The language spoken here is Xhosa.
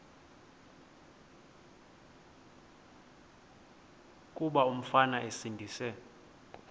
kuba umfana esindise